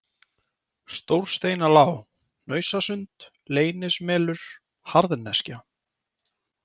Stórsteinalág, Hnausasund, Leynismelur, Harðneskja